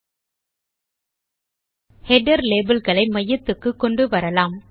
ல்ட்பாசெக்ட் header label களை மையத்துக்கு கொண்டு வரலாம்